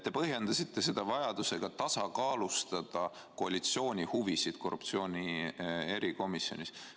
Te põhjendasite seda vajadusega tasakaalustada koalitsiooni huvisid korruptsiooni erikomisjonis.